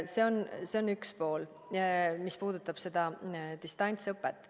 See on üks pool, mis puudutab seda distantsõpet.